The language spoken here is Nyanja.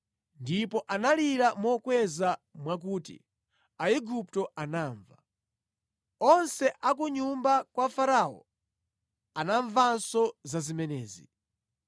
Ndipo analira mokweza mwakuti Aigupto anamva. Onse a ku nyumba kwa Farao anamvanso za zimenezi.